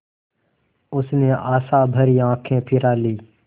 उसने आशाभरी आँखें फिरा लीं